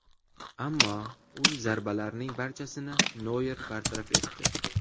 Ammo u zarbalarning barchasini Noyer bartaraf etdi.